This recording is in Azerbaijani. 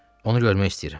Onu görmək istəyirəm.